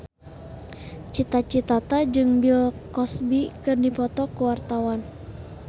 Cita Citata jeung Bill Cosby keur dipoto ku wartawan